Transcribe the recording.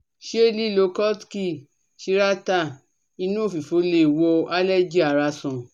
se lilo kutki, chirata inu ofifo le wo cs] allergy ara san